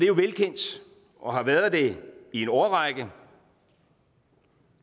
jo velkendt og har været det i en årrække at